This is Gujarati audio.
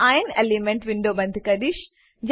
હું ઇરોન એલીમેન્ટલ વિન્ડો બંધ કરીશ